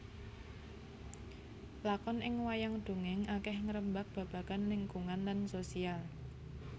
Lakon ing wayang dongèng akeh ngrembag babagan lingkungan lan sosial